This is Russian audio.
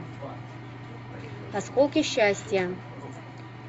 осколки счастья